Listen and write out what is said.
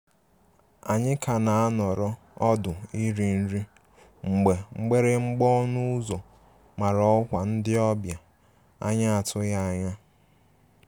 Anyi ka na anọrọ ọdụ iri nri mgbe mgbịrịgba ọnụ ụzọ mara ọkwa ndi obia anya atụghi anya.